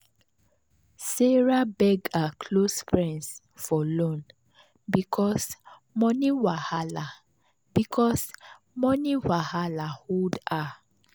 sarah beg her close friends for loan because money wahala because money wahala hold her.